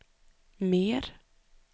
mer